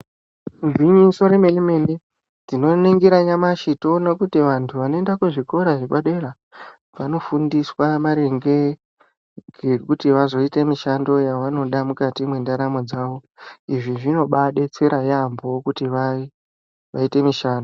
Igwinyiso re mene mene tino ningira nyamashi to ona kuti vantu vano enda ku zvikora zve padera vano fundiswa maringe ngekuti vazo ite mishando ya vanoda mukati mwe ndaramo dzavo izvi zvino bai detsera yambo kuti vaite mishando.